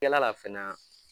Yaala la fana